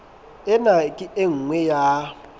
ena ke e nngwe ya